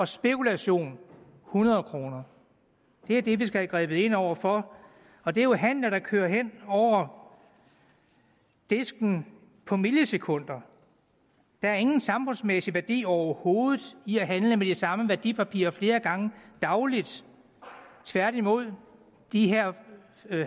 spekulation hundrede kroner det er det vi skal have grebet ind over for og det er jo handler der kører over disken på millisekunder der er ingen samfundsmæssig værdi overhovedet i at handle med de samme værdipapirer flere gange dagligt tværtimod er de her